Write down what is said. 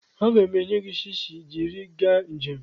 Aga m enye gị shishi jiri gaa njem.